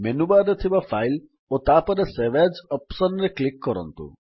menu bar ରେ ଥିବା file ଓ ତାପରେ ସେଭ୍ ଏଏସ୍ ଅପ୍ସନ୍ ରେ କ୍ଲିକ୍ କରନ୍ତୁ